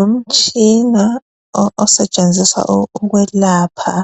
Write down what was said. Umtshina osetshenziswa ukwelapha